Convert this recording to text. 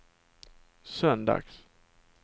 söndags